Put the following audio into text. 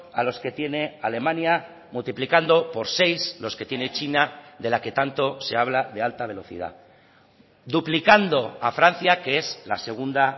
a los que tiene alemania multiplicando por seis los que tiene china de la que tanto se habla de alta velocidad duplicando a francia que es la segunda